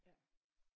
Ja